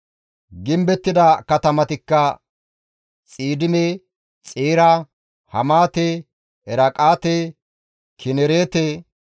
Gimbettida katamatikka Xiidime, Xeera, Hamaate, Eraaqate, Kinereete,